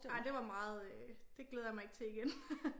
Ja det var meget øh det glæder jeg mig ikke til igen